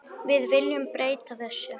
Við viljum breyta þessu.